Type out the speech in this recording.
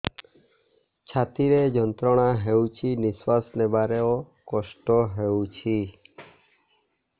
ଛାତି ରେ ଯନ୍ତ୍ରଣା ହେଉଛି ନିଶ୍ଵାସ ନେବାର କଷ୍ଟ ହେଉଛି